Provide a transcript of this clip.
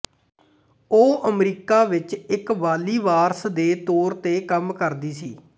ਉਹ ਅਮਰੀਕਾ ਵਿੱਚ ਇੱਕ ਵਾਲੀਵਾਰਸ ਦੇ ਤੌਰ ਤੇ ਕੰਮ ਕਰਦੀ ਸੀ